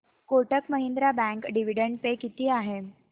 Kotak Mahindra bank dividend pay किती आहे